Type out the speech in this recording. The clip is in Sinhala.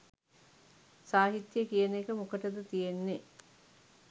සාහිත්‍ය කියන එක මොකටද තියෙන්නෙ